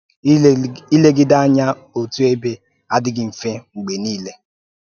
ị́legi Ìlegíde ányá òtù ebe ádịghị mfe mgbe niile.